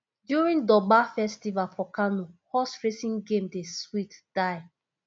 during durbar festival for kano horse racing game dey sweet die